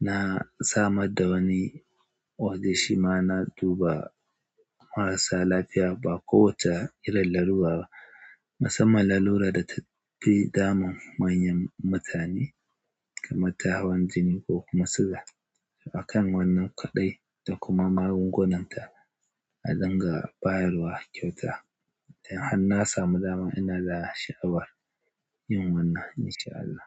na samar da wani waje shi ma na duba marasa lafiya ba kowacce irin lalura ba. Musamman lalura da ta fi damun manyan mutane kamar tahawan jini ko kuma suga. Akan wannan kaɗai da kuma magungunanta a dinga bayarwa kyauta. Idan har na samu dama ina da sha'awar yin wannan in sha Allah.